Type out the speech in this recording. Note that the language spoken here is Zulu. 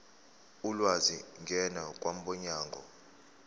ulwazi ngena kwabomnyango